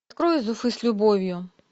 открой из уфы с любовью